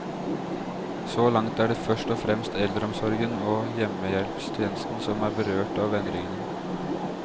Så langt er det først og fremst eldreomsorgen og hjemmehjelpstjenesten som er berørt av endringene.